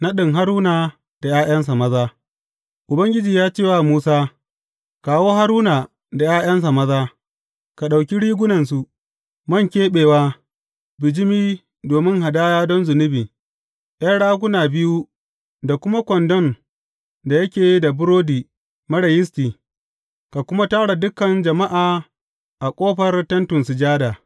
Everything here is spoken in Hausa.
Naɗin Haruna da ’ya’yansa maza Ubangiji ya ce wa Musa, Kawo Haruna da ’ya’yansa maza, ka ɗauki rigunansu, man keɓewa, bijimi domin hadaya don zunubi, ’yan raguna biyu da kuma kwandon da yake da burodi marar yisti, ka kuma tara dukan jama’a a ƙofar Tentin Sujada.